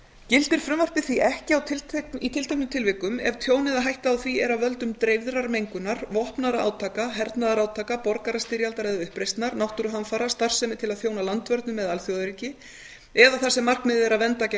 gildir frumvarpið því ekki í tilteknum tilvikum ef tjón eða hætta á því er af völdum dreifðrar mengunar vopnaðra átaka hernaðarátaka borgarastyrjaldar eða uppreisnar náttúruhamfara starfsemi til að þjóna landvörnum eða alþjóðaöryggi eða þar sem markmiðið er að vernda gegn